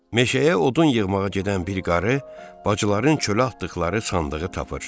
Meşəyə odun yığmağa gedən bir qarı bacıların çölə atdıqları sandığı tapır.